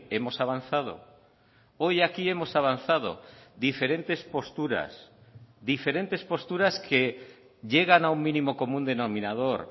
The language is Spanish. hemos avanzado hoy aquí hemos avanzado diferentes posturas diferentes posturas que llegan a un mínimo común denominador